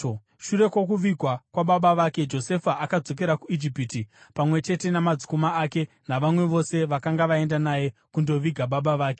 Shure kwokuvigwa kwababa vake, Josefa akadzokera kuIjipiti, pamwe chete namadzikoma ake navamwe vose vakanga vaenda naye kundoviga baba vake.